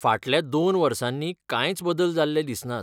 फाटल्या दोन वर्सांनी कांयच बदल जाल्ले दिसनात.